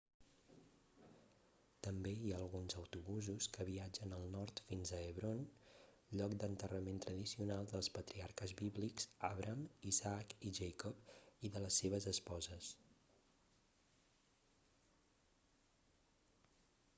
també hi ha alguns autobusos que viatgen al nord fins a hebron lloc d'enterrament tradicional dels patriarques bíblics abraham isaac i jacob i de les seves esposes